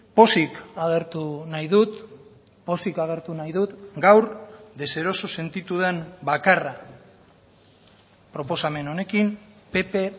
pozik agertu nahi dut pozik agertu nahi dut gaur deseroso sentitu den bakarra proposamen honekin pp